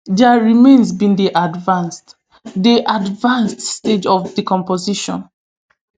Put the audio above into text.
dia remains bin dey advanced dey advanced stages of decomposition